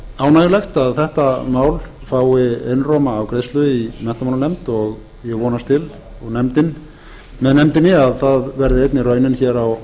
ánægjulegt að þetta mál fái einróma afgreiðslu í menntamálanefnd og ég vonast til með nefndinni að það verði einnig raunin hér á